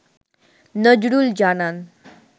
নজরুল জানান